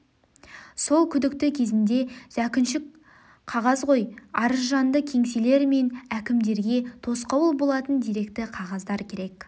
сол күдікті кезенде зәкүншік қағазқой арызжанды кеңселер мен әкімдерге тосқауыл болатын деректі қағаздар керек